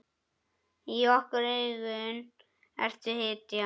Í okkar augum ertu hetja.